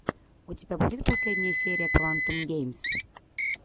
у тебя будет последняя серия квантум геймс